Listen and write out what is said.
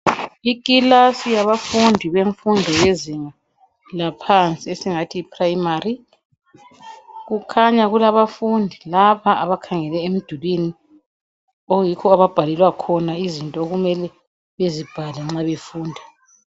ikilasi yabafundi bemfundo yezinga laphansi esingathi yi primary kukhanya kulabafundi lapha abakhangele emdulini okuyikho ababhalelwa khona izinto okumele bezibhale nxa befunda